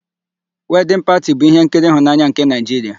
Wedịn Pati bụ ihenkiri ịhụnanya nke Naịjiria.